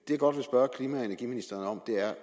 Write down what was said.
jeg godt vil spørge klima og energiministeren om er